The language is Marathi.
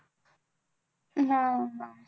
हम्म